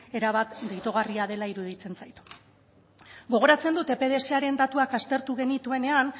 erabat deigarria dela iruditzen zait gogoratzen dut epdsaren datuak aztertu genituenean